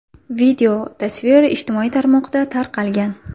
Video tasvir ijtimoiy tarmoqda tarqalgan.